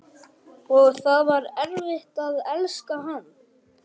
Og það var erfitt að elska hann.